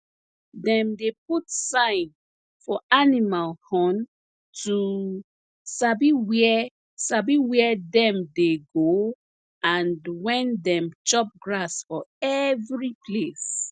dem dey put sign for animal horn to sabi where sabi where dem dey go and when dem chop grass for every place